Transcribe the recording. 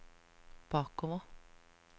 bakover